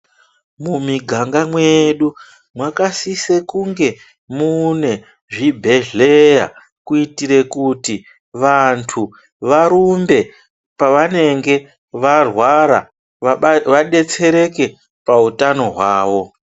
Mumiganga mwedu makasisa kunge mune zvibhedhlera kuitira kuti vantu varumbe pavanenge varwara vadetsereke pahutano hwavo.